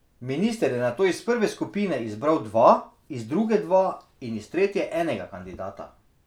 Minister je nato iz prve skupine izbral dva, iz druge dva in iz tretje enega kandidata.